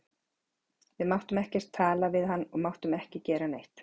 Við máttum ekkert tala við hann og máttum ekki gera neitt.